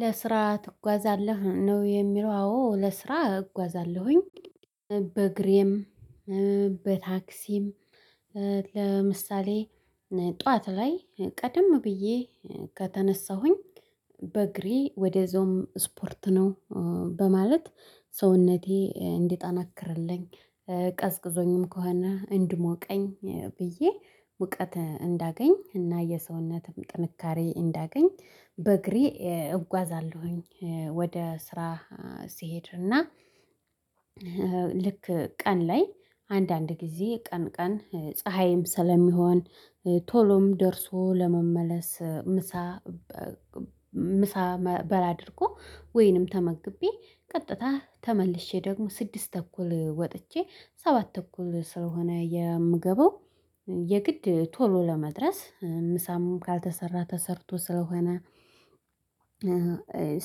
ለስራ ትጓዛለህ? ነው የሚለው አዎ ለስራ እጓዛለሁኝ በእግሬም በታክሲም። ለምሳሌ ጠዋት ላይ ቀደም ብዬ ከተነሳሁኝ በእግሬ ወደዛውም ስፖርት ነው በማለት ሰውነቴ እንዲጠነክርልኝ ቀዝቅዞኝም ከሆነ እንዲሞቀኝ ብዬ እውቀት እንዳገኝ እና የሰውነትም ጥንካሬ እንዳገኝ በእግሬ እጓዛለሁኝ ወደ ስራ። ስሄድ እና ልክ ቀን ላይ አንዳንድ ጊዜ ቀን ቀን ፀሀይም ስለሚሆን ቶሎም ደርሶ ለመመለስ ምሳ ምሳ በላ አድርጎ ወይንም ተመግቤ ቀጥታ ተመልሼ ደግሞ ስድስት ተኩል ወጥቼ ሰባት ተኩል ስለሆነ የምገባው። የግድ ቶሎ ለመድረስ ምሳም ካልተሰራ ተሰርቶ ስለሆነ